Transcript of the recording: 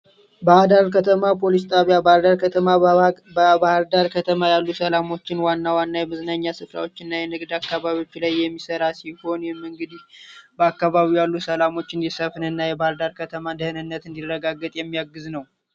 ባህር ዳር ከተማ ፓሊስ ጣቢያ ባህር ዳር ከተማ በባህር ዳር ከተማ ያሉ ሰላሞችን ዋና ዋና የመዝናኛ ሰፍራወችን እና የንግድ አካባቢወች ላይ የሚሰራ ሲሆን ይህም እንግዲ በአካባቢዉ ያሉ ሰላሞችን እንዲሰፍን እና የከተማ ደህንነት እንዲረጋገጥ የሚያግዝ ነዉ።